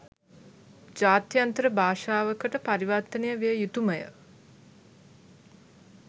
ජාත්‍යන්තර භාෂාවකට පරිවර්තනය විය යුතු ම ය.